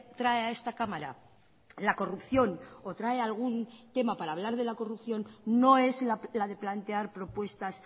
trae a esta cámara la corrupción o trae algún tema para hablar de la corrupción no es la de plantear propuestas